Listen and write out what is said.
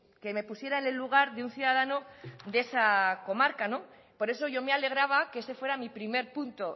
que me pusiera en el lugar de un ciudadano de esa comarca por eso yo me alegraba que ese fuera mi primer punto